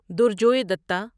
درجوے دتہ